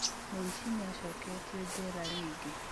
Mũici nĩacoketio njera ringĩ